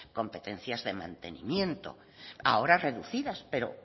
competencias de mantenimiento ahora reducidas pero